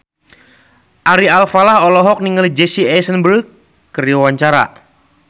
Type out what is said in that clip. Ari Alfalah olohok ningali Jesse Eisenberg keur diwawancara